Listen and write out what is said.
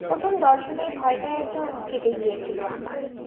প্রথম দর্শনেই ভয়টা একটু কেটে গিয়েছিল আমার